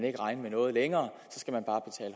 ikke regne med noget længere